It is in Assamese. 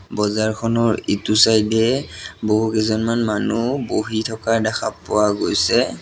বজাৰখনৰ ইটো চাইড এ বহুকেইজনমান মানুহ বহি থকা দেখা পোৱা গৈছে।